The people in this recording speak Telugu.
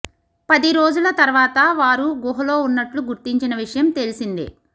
పది రోజుల తర్వాత వారు గుహలో ఉన్నట్లు గుర్తించిన విషయం తెలిసిందే